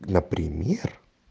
например